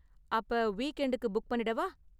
அப்ப வீக்எண்டுக்கு ticket book பண்ணிடவா?